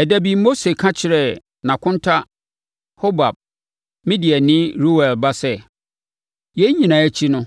Ɛda bi, Mose ka kyerɛɛ nʼakonta Hobab, Midiani Reuel ba sɛ, “Yei nyinaa akyi no,